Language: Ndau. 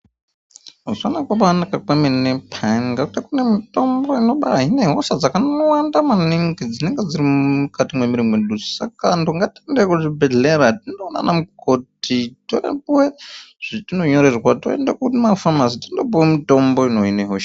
Zvakabaanaka kwemene peyani ngatika kune mitombo inobaahine hosha dzakangowanda maningi dzinenge dziri mukati mwemiiri mwedu. Saka antu ngatiende kuzvibhehlera tindoona ana mukoti torapuwe zvatinonyorerwa toende kumafamasi tondopiwe mitombo inohine hosha.